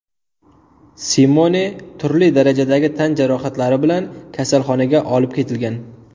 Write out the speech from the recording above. Simone turli darajadagi tan jarohatlari bilan kasalxonaga olib ketilgan.